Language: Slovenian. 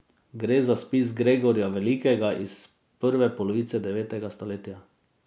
Gre za spis Gregorja Velikega iz prve polovice devetega stoletja.